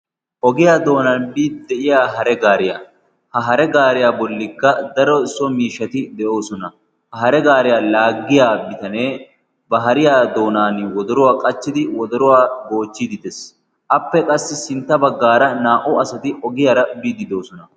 Ogiyaa doonan biidi de'iya hare gaariyaa ha hare gaariyaa bollikka daro so miishshati de'oosona. ha hare gaariyaa laaggiya bitanee ba hariyaa doonan wodoruwaa qachchidi wodoruwaa goochchiidi dees. appe qassi sintta baggaara naa"u asati ogiyaara biidi de'osona.